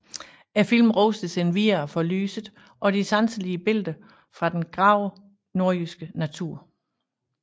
Filmen rostes endvidere for lyset og de sanselige billeder fra den grove nordjyske natur